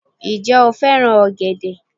Ǹ je o fẹ́ràn ọ̀gẹ̀dẹ̀